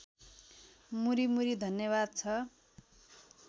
मुरीमुरी धन्यवाद छ